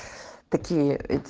такие эти